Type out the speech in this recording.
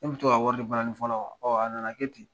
K'u bi tɔ ka wari di balani fɔla ma. Ɔ a nana kɛ ten